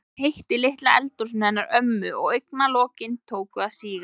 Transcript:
Það var heitt í litla eldhúsinu hennar ömmu og augna- lokin tóku að síga.